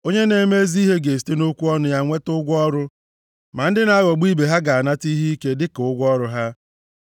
Onye na-eme ezi ihe ga-esite nʼokwu ọnụ ya nweta ụgwọ ọrụ, ma ndị na-aghọgbu ibe ha ga-anata ihe ike dịka ụgwọ ọrụ ha.